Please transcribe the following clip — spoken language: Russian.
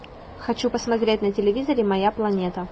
хочу посмотреть на телевизоре моя планета